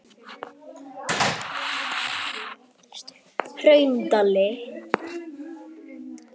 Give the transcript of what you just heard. Hraundali